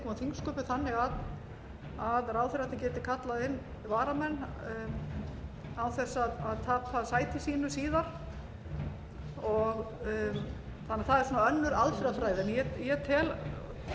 þingsköpum þannig að ráðherrarnir gætu kallað inn varamenn án þess að tapa sæti sínu síðar þannig að það er önnur aðferðafræði en ég tel